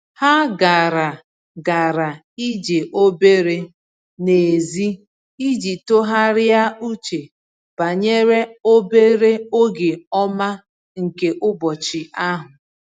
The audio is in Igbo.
Ha gara gara ije obere n’èzí iji tụgharịa uche banyere obere oge ọma nke ụbọchị ahụ.